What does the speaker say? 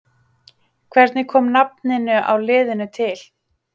Hvernig kom nafninu á liðinu til?